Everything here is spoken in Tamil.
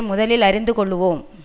முதலில் அறிந்து கொள்ளுவோம்